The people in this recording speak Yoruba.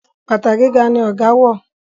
bàtà gíga ní ọgá wọ.